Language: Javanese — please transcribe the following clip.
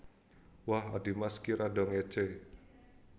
Wah adhimas ki rada ngécé